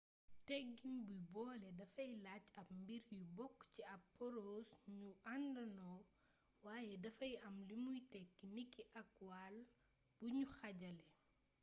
tëggiin buy boole dafay laaj ab mbir yu bokk ci ab porose ñu àndandoo waaye dafay am limuy tekki niki ak wàll buñu xaajale